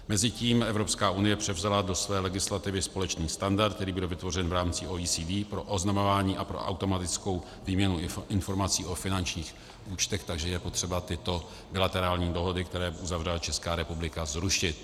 Mezitím Evropská unie převzala do své legislativy společný standard, který byl vytvořen v rámci OECD pro oznamování a pro automatickou výměnu informací o finančních účtech, takže je potřeba tyto bilaterální dohody, které uzavřela Česká republika, zrušit.